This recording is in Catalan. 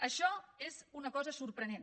això és una cosa sorprenent